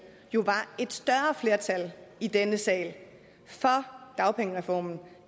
jo var et større flertal i denne sal for dagpengereformen